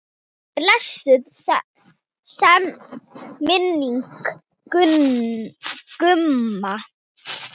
Blessuð sé minning Gumma.